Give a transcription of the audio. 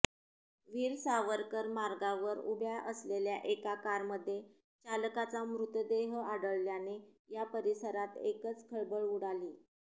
वीर सावरकर मार्गावर उभ्या असलेल्या एका कारमध्ये चालकाचा मृतदेह आढळल्याने या परिसरात एकचं खळबळ उडाली